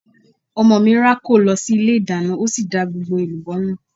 Ọmọ mi rákò lọ sí ilé ìdáná ó sì da gbogbo èlùbọ́ nù.